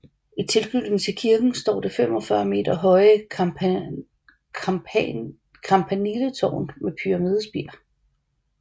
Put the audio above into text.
I tilknytning til kirken står det 45 meter høje campaniletårn med pyramidespir